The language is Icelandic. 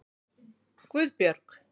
Guðbjörg